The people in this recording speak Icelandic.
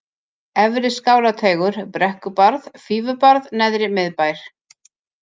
Efri-Skálateigur, Brekkubarð, Fífubarð, Neðri-Miðbær